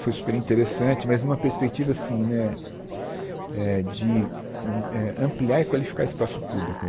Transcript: Foi super interessante, mas numa perspectiva assim né eh de eh ampliar e qualificar espaço público.